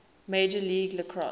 major league lacrosse